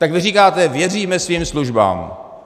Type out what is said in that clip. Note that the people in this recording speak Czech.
Tak vy říkáte: Věříme svým službám.